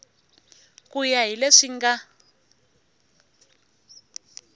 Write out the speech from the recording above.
ku ya hi leswi nga